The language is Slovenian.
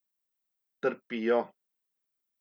Trpijo.